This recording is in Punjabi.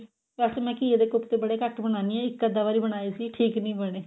ਵੈਸੇ ਮੈਂ ਘੀਏ ਦੇ ਕੋਫਤੇ ਬੜੇ ਘੱਟ ਬਣਾਉਂਦੀ ਆ ਇੱਕ ਅੱਧਾ ਵਾਰੀ ਬਣਾਏ ਸੀ ਠੀਕ ਨੀ ਬਣੇ